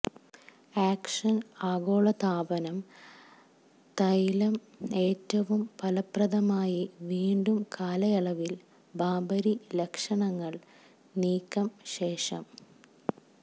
action ആഗോളതാപനം തൈലം ഏറ്റവും ഫലപ്രദമായി വീണ്ടും കാലയളവിൽ ബാബരി ലക്ഷണങ്ങൾ നീക്കം ശേഷം